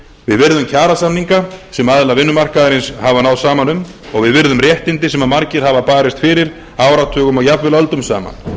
virðum kjarasamninga sem aðilar vinnumarkaðarins hafa náð saman um og við virðum réttindi sem margir hafa barist fyrir áratugum og jafnvel öldum saman